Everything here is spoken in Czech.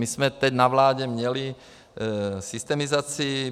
My jsme teď na vládě měli systemizaci.